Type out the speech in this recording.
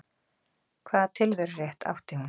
Hvaða tilverurétt átti hún?